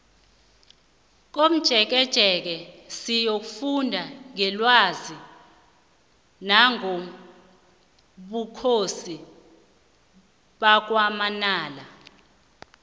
komjekejeke siyokufunda ngelwazi nangobukhosi bakwamanala